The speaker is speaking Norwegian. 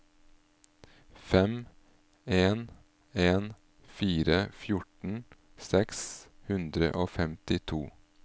fem en en fire fjorten seks hundre og femtito